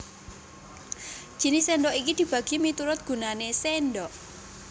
Jinis sèndhok iki dibagi miturut gunané sèndhok